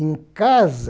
Em casa,